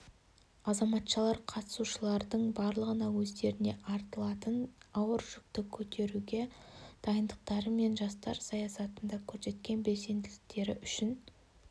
азаматшалар қатысушылардың барлығына өздеріне артылатын ауыр жүкті көретуге дайындықтары мен жастар саясатында көрсеткен белсенділіктері үшін